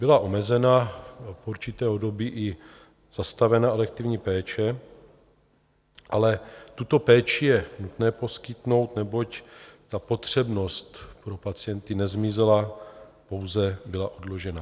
Byla omezena, v určitém období i zastavena elektivní péče, ale tuto péči je nutné poskytnout, neboť ta potřebnost pro pacienty nezmizela, pouze byla odložena.